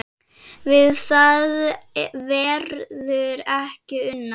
Við það verður ekki unað